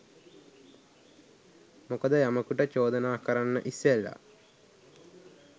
මොකද යමෙකුට චෝදනා කරන්න ඉස්සෙල්ල